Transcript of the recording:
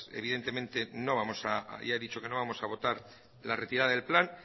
evidentemente no vamos a ya he dicho que no vamos a votar la retirada del plan